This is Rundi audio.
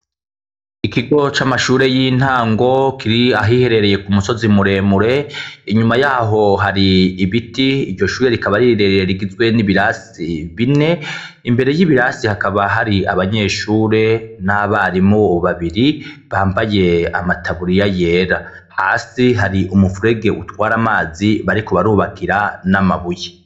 Ikigo c'amashure y'intango kiri ahiherereye ku musozi muremure, inyuma yaho hari ibiti, iryo shure rikaba ari rirerire rigizwe n'ibirasi bine, imbere y'ibirasi hakaba hari abanyeshure n'abarimu babiri bambaye amataburiya yera, hasi hari umuferege utwara amazi bariko barubakira n'amabuye.